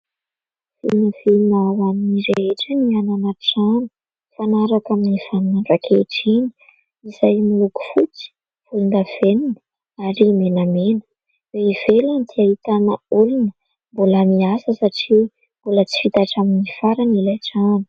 Vinavina ho any rehetra ny hanana trano mifanaraka amin'ny vaninandro ankehitriny izay miloko fotsy, volondavenona ary menamena. Eo ivelany dia ahitana olona mbola miasa satria mbola tsy vita hatramin'ny farany ilay trano.